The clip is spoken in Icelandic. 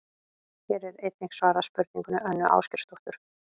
Hér er einnig svarað spurningu Önnu Ásgeirsdóttur: